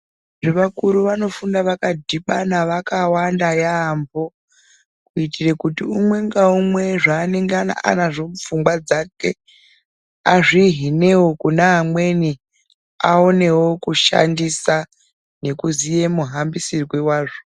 Cheakuru vanofunda vakadhibana yambo kuitira kuti umwe naumwe zvaanenge anazvo mupfungwa dzake azvihinewo kune amweni aonewo kushandisa ngekuziya muhambisirwe wazvo.